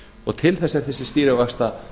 og til þess er þessi stýrivaxtahækkun